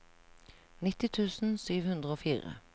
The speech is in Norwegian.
nitti tusen sju hundre og fire